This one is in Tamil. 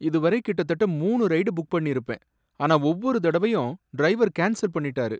இதுவரை கிட்டத்தட்ட மூணு ரைடு புக் பண்ணிருப்பேன், ஆனா ஒவ்வொரு தடவையும் டிரைவர் கேன்ஸல் பண்ணிட்டாரு.